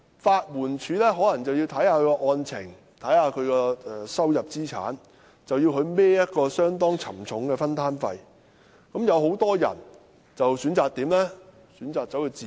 法援署可視乎案情和申請人的收入、資產，要求申請人負擔相當沉重的分擔費，而很多人便因而選擇自辯。